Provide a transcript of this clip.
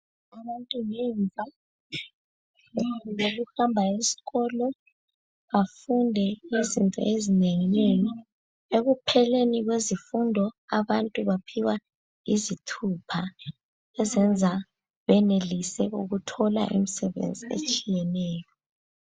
ukuhamba esikolo afunde izinto ezinenginengi. Ekupheleni kwezifundo abantu baphiwa izithupha ezenza benelise ukuthola imisebenzi etshiyeneyo.